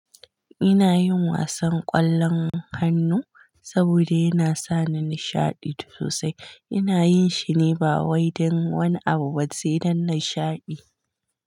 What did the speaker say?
Ina yin wasan ƙwallon hannu saboda yana sa ni nishaɗi sosai. Ina yin shine ba wai dan wani abu sai dan nashaɗi.